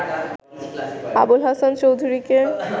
আবুল হাসান চৌধুরীকে